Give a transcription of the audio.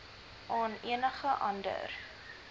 aan enige ander